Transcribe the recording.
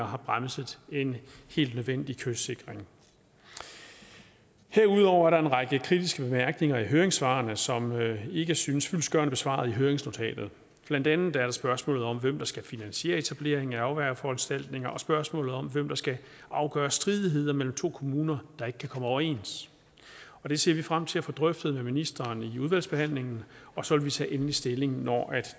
har bremset en helt nødvendig kystsikring herudover er der en række kritiske bemærkninger i høringssvarene som ikke synes fyldestgørende besvaret i høringsnotatet blandt andet er der spørgsmålet om hvem der skal finansiere etableringen af afværgeforanstaltninger og spørgsmålet om hvem der skal afgøre stridigheder mellem to kommuner der ikke kan komme overens det ser vi frem til at få drøftet med ministeren i udvalgsbehandlingen og så vil vi tage endelig stilling når